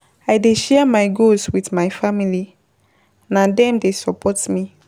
I dey share my goals wit my family, na dem dey support me.